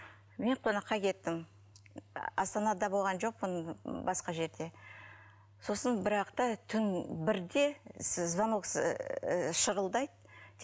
мен қонаққа кеттім астанада болған жоқпын басқа жерде сосын бір уақытта түн бірде звонок ыыы шырылдайды